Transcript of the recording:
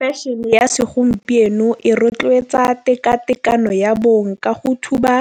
Fashion-e ya segompieno e rotloetsa teka tekano ya bong ka go thuba